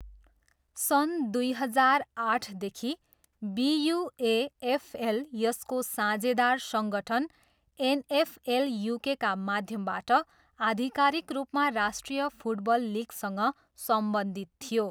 सन् दुई हजार आठदेखि बियुएएफएल यसको साझेदार सङ्गठन एनएफएल युकेका माध्यमबाट आधिकारिक रूपमा राष्ट्रिय फुटबल लिगसँग सम्बन्धित थियो।